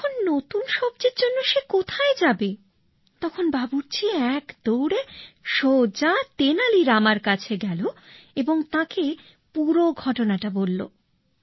এখন নতুন সবজির জন্য সে কোথায় যাবে তখন বাবুর্চি এক দৌড়ে সোজা তেনালী রামের কাছে গেল এবং তাঁকে পুরো ঘটনা বলল